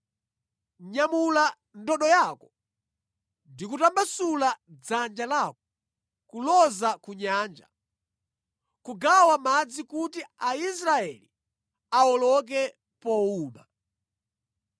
Nyamula ndodo yako ndi kutambasula dzanja lako kuloza ku nyanja, kugawa madzi kuti Aisraeli awoloke powuma.